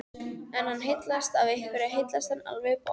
Ef hann heillast af einhverju heillast hann alveg í botn